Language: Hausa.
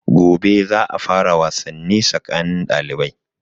Gobe za a fara wasanni tsakanin ɗalibai.